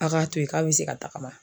A' k'a to ye k'a bɛ se ka tagama